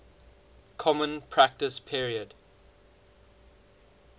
common practice period